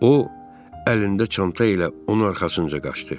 O əlində çanta ilə onun arxasınca qaçdı.